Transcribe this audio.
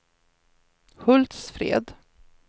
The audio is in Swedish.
Hultsfred